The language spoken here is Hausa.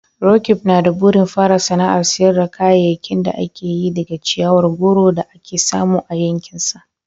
Roqeeb na da burin fara sana'ar sayar da kayayyakin da ake yi daga ciyawar goro da ake samu a yankinsa.